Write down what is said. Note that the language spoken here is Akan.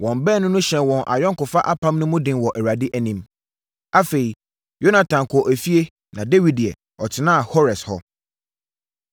Wɔn baanu no hyɛɛ wɔn ayɔnkofa apam mu den wɔ Awurade anim. Afei, Yonatan kɔɔ efie na Dawid deɛ, ɔtenaa Hores hɔ.